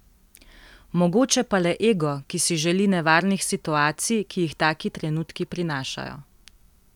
Mogoče pa le ego, ki si želi nevarnih situacij, ki jih taki trenutki prinašajo.